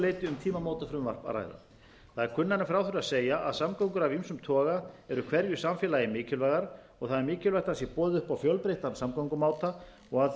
leyti um tímamótafrumvarp að ræða það er kunnara en frá þurfi að segja að samgöngur af ýmsum toga eru hverju samfélagi mikilvægar og það er mikilvægt að sé boðið upp á fjölbreyttan samgöngumáta og að